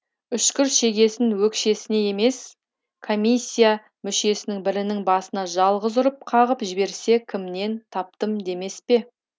үшкір шегесін өкшесіне емес комиссия мүшесінің бірінің басына жалғыз ұрып қағып жіберсе кімнен таптым демес пе